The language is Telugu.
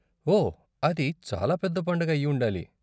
ఓ, అది చాలా పెద్ద పండగ అయి ఉండాలి.